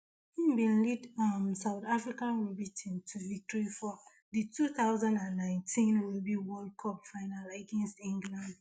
im bin lead um south african rugby team to victory for for di two thousand and nineteen rugby world cup final against england